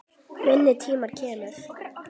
Minn tími kemur.